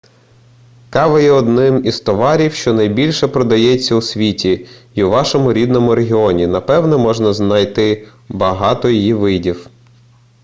кава є одним із товарів що найбільше продається у світі й у вашому рідному регіоні напевне можна знайти багато її видів